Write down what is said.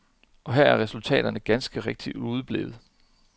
Og her er resultaterne ganske rigtigt udeblevet.